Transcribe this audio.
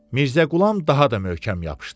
Mirzə Qulam daha da möhkəm yapışdı.